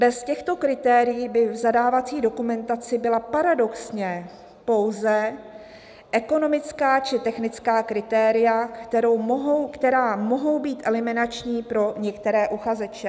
"Bez těchto kritérií by v zadávací dokumentaci byla paradoxně pouze ekonomická či technická kritéria, která mohou být eliminační pro některé uchazeče."